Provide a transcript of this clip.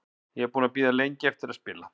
Ég er búinn að bíða lengi eftir að spila.